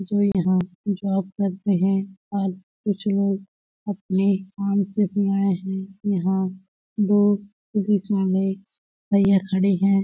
जो यहाँ जॉब करते है और कुछ लोग अपने काम से भी आए है यहाँ दो भईया खड़े है।